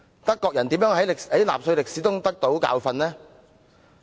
德國人如何在納粹歷史中得到教訓？